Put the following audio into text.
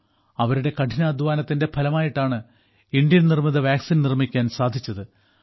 അവരുടെ കഠിനാധ്വാനത്തിന്റെ ഫലമായിട്ടാണ് ഇന്ത്യൻ നിർമ്മിത വാക്സിൻ നിർമ്മിക്കാൻ സാധിച്ചത്